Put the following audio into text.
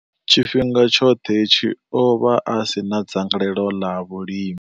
Tshifhinga tshoṱhe hetshi, o vha a si na dzangalelo ḽa vhulimi.